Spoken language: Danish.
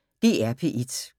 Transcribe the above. DR P1